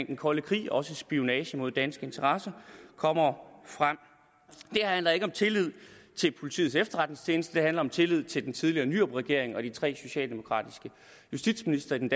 den kolde krig også spionage mod danske interesser kommer frem det handler ikke om tillid til politiets efterretningstjeneste det handler om tillid til den tidligere nyrupregering og de tre socialdemokratiske justitsministre i den